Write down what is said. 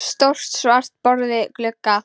Stórt svart borð við glugga.